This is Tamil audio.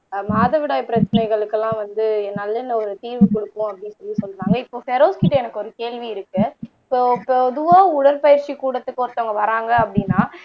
ஆஹ் மாதவிடாய் பிரச்சனைகளுக்கு எல்லாம் வந்து நல்லெண்ண ஒரு தீர்வு கொடுக்கும் அப்படின்னு சொல்லி சொல்றாங்க இப்போ பெரோஸ்கிட்ட எனக்கு ஒரு கேள்வி இருக்கு இப்போ பொதுவா உடற்பயிற்சி கூடத்துக்கு ஒருத்தவங்க வர்றாங்க அப்படின்னா